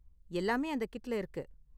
எல்லாமே அந்த கிட்ல இருக்கு.